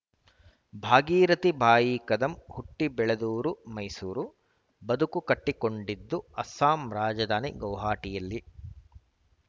ಭಾಗೀರಥಿ ಬಾಯಿ ಕದಂ ಹುಟ್ಟಿಬೆಳೆದೂರು ಮೈಸೂರು ಬದುಕು ಕಟ್ಟಿಕೊಂಡದ್ದು ಅಸ್ಸಾಂ ರಾಜಧಾನಿ ಗೌಹಾಟಿಯಲ್ಲಿ